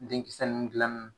Denkisɛ nunnu gilanni